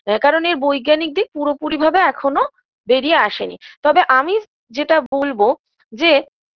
ব্যাকরণের বৈজ্ঞানিক দিক পুরোপুরি ভাবে এখনও বেরিয়ে আসেনি তবে আমি যেটা বলবো যে